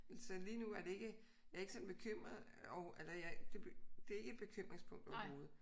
Så lige nu er det ikke jeg er ikke sådan bekymret over eller jeg det er ikke et bekymringspunkt overhovedet